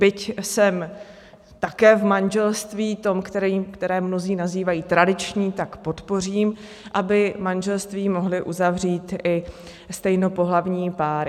Byť jsem také v manželství, tom, které mnozí nazývají tradiční, tak podpořím, aby manželství mohly uzavřít i stejnopohlavní páry.